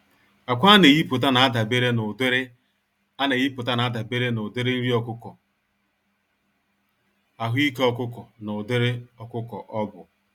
Ákwà aneyipụta n'adabere n'ụdịrị aneyipụta n'adabere n'ụdịrị nri ọkụkọ, ahụike ọkụkọ na ụdịrị ọkụkọ ọbụ.